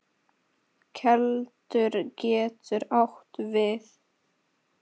Keldur getur átt við